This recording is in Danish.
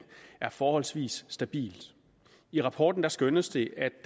er forholdsvis stabilt i rapporten skønnes det at